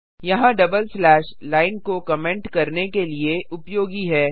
यहाँ double slash line को comment करने के लिए उपयोगी है